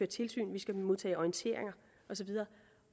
tilsyn vi skal modtage orientering og så videre